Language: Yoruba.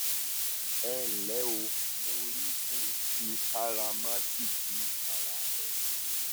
ẹ ǹlẹ o mo mọrírì bó o ṣe káràmáásìkí ara rẹ